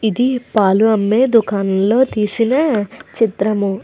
ఇది పాలు అమ్మే దుకాణం లో తీసిన చిత్రము.